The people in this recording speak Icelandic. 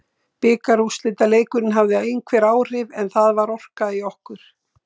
Bikarúrslitaleikurinn hafði einhver áhrif en það var orka í okkur.